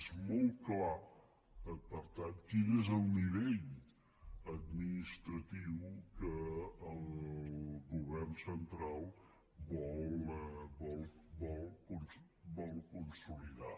és molt clar per tant quin és el nivell administratiu que el govern central vol consolidar